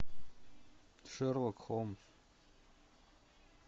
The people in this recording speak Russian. шерлок холмс